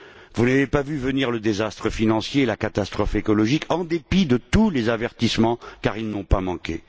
Vous n'avez pas vu venir le désastre financier et la catastrophe écologique, en dépit de tous les avertissements, car ils n'ont pas manqué.